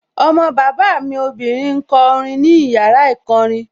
Ọmọ bàbá mi obìnrin ń kọ orin ní yàrá ìkọrin